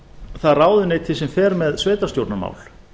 það ráðuneyti sem fer með sveitarstjórnarmál